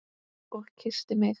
Og kyssti mig.